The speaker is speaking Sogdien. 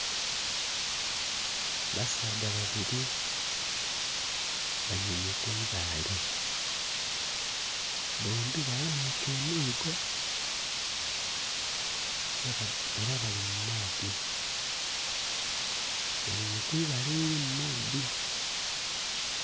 Basaadha babiri baninhye kwibaale b'ombbi baghanhike emiigo era bali mu maadhi, baninhye kwibaale elili mu maadhi.